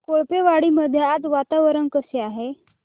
कोळपेवाडी मध्ये आज वातावरण कसे आहे